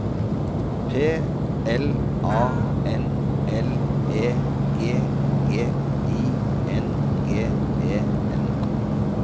P L A N L E G G I N G E N